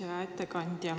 Hea ettekandja!